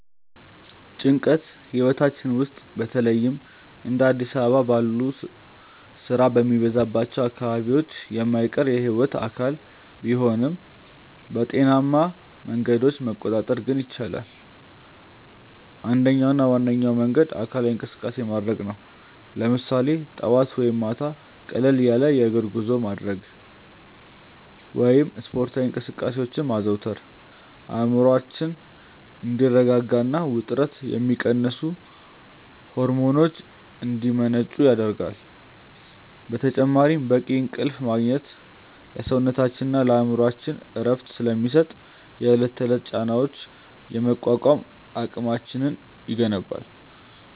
ጭንቀት ህይወታችን ውስጥ በተለይም እንደ አዲስ አበባ ባሉ ስራ በሚበዛባቸው አካባቢዎች የማይቀር የህይወት አካል ቢሆንም፣ በጤናማ መንገዶች መቆጣጠር ግን ይቻላል። አንደኛውና ዋነኛው መንገድ አካላዊ እንቅስቃሴ ማድረግ ነው፤ ለምሳሌ ጠዋት ወይም ማታ ቀለል ያለ የእግር ጉዞ ማድረግ ወይም ስፖርታዊ እንቅስቃሴዎችን ማዘውተር አእምሮአችን እንዲረጋጋና ውጥረትን የሚቀንሱ ሆርሞኖች እንዲመነጩ ይረዳል። በተጨማሪም በቂ እንቅልፍ ማግኘት ለሰውነታችንና ለአእምሮአችን እረፍት ስለሚሰጥ፣ የዕለት ተዕለት ጫናዎችን የመቋቋም አቅማችንን ይገነባል።